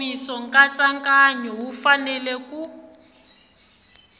nkomiso nkatsakanyo wu fanele ku